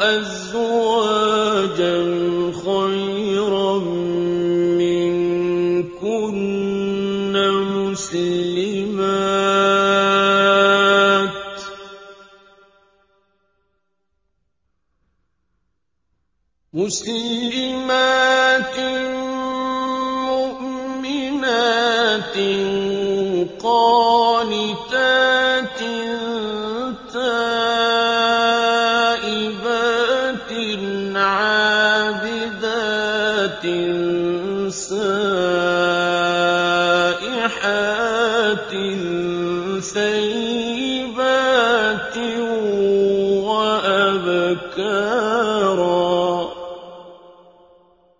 أَزْوَاجًا خَيْرًا مِّنكُنَّ مُسْلِمَاتٍ مُّؤْمِنَاتٍ قَانِتَاتٍ تَائِبَاتٍ عَابِدَاتٍ سَائِحَاتٍ ثَيِّبَاتٍ وَأَبْكَارًا